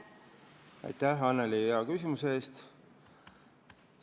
Aitäh, Annely, hea küsimuse eest!